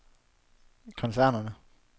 koncernen